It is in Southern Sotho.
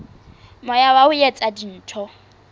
moya wa ho etsa dintho